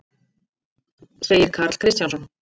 segir Karl Kristjánsson.